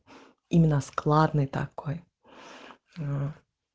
именно складный такой